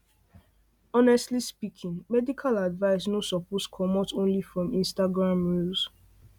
honestly speaking medical advice no suppose comot only from instagram reels